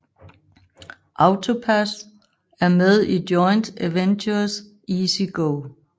AutoPASS er med i joint venturet EasyGo